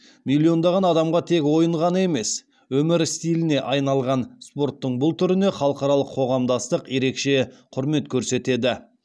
миллиондаған адамға тек ойын ғана емес өмір стиліне айналған спорттың бұл түріне халықаралық қоғамдастық ерекше құрмет көрсетеді